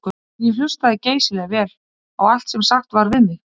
En ég hlustaði geysilega vel á allt sem sagt var við mig.